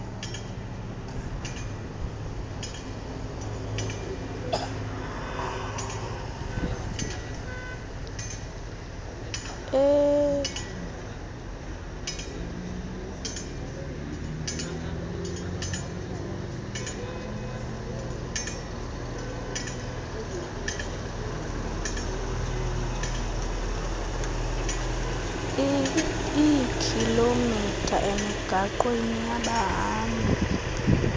eekhilomitha emigaqwana yabahambi